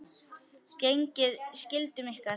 Gegnið skyldum ykkar!